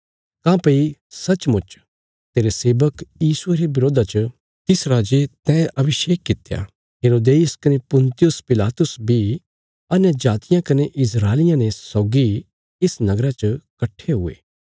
काँह्भई सचमुच तेरे सेवक यीशुये रे बरोधा च तिस राजे तैं अभिषेक कित्या हेरोदेस कने पुन्तियुस पिलातुस बी अन्यजातियां कने इस्राएलियां ने सौगी इस नगरा च कट्ठे हुये